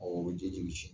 Ɔ o ji bɛ tiɲɛ